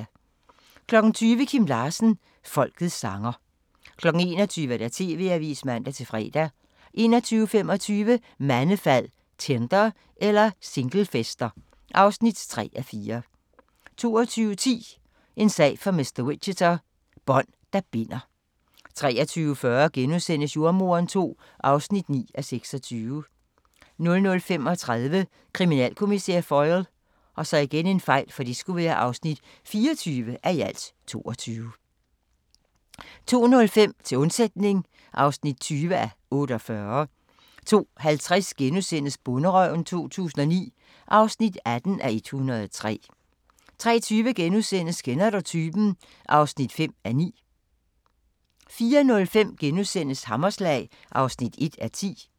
20:00: Kim Larsen – folkets sanger 21:00: TV-avisen (man-fre) 21:25: Mandefald – Tinder eller singlefester? (3:4) 22:10: En sag for mr. Whicher: Bånd, der binder 23:40: Jordemoderen II (9:26)* 00:35: Kriminalkommissær Foyle (24:22)* 02:05: Til undsætning (20:48) 02:50: Bonderøven 2009 (18:103)* 03:20: Kender du typen? (5:9)* 04:05: Hammerslag (1:10)*